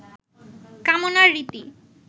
কামনার রীতি